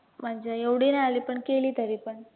म्हणजे एवढी नाही आली पण केली तरी पण